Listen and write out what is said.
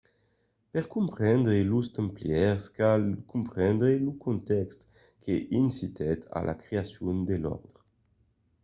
per comprendre los templièrs cal comprendre lo contèxt que incitèt a la creacion de l’òrdre